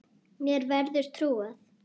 Mér verður trúað.